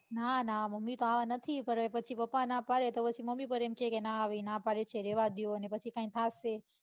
ના ના મમ્મી તો આવા નથી પણ અવે હવે પછી પપ્પા ના પાડે પછી મમ્મી પણ એમ કે ના હવે એ ના પાડે છે રેવા દો ને પછી કઈ થાશે